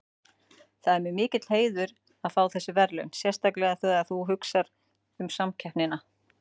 Það er mér mikill heiður að fá þessi verðlaun sérstaklega þegar þú hugsar um samkeppnina.